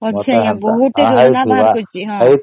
ଅଛି ବହୁତ ଯୋଜନା ସବୁ